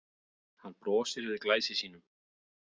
Hann brosir við Glæsi sínum.